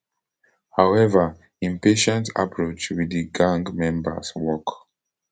however im patient approach wit di gang members work